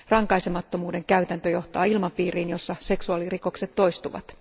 Rankaisemattomuuden käytäntö johtaa ilmapiiriin, jossa seksuaalirikokset toistuvat.